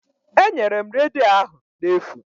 Enyere m redio ahụ n'efu